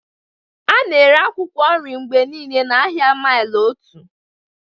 A na-ere akwụkwọ nri mgbe niile n'ahịa maili otu.